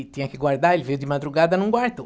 E tinha que guardar, ele veio de madrugada e não guardou.